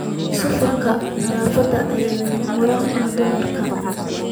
Suufka nadaafadda ayaa lama huraan u ah dumarka.